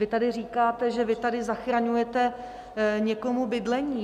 Vy tady říkáte, že vy tady zachraňujete někomu bydlení.